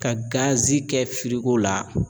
Ka gazi kɛ firigo la